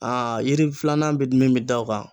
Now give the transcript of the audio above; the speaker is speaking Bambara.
yiri filanan bɛ min bɛ da o kan.